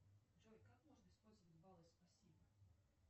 джой как можно использовать баллы спасибо